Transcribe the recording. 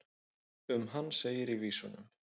um hann segir í vísunum